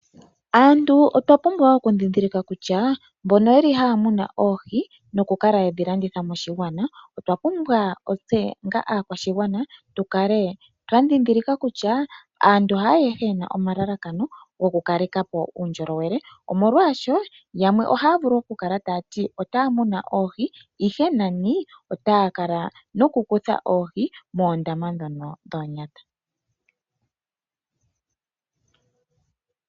Aantu otwa pumbwa okundhindhilika kutya mbono ye li haya muna oohi nokukala ye dhi landitha moshigwana otwa pumbwa otse onga aakwashigwana tu kale twa ndhindhilika kutya aantu haayehe ye na omalalakano gokukaleka po uundjolowele omolwaasho yamwe ohaya vulu okukala taya ti otaya muna oohi ashike nani otaya kala nokukutha oohi moondama ndhono dhoonyata.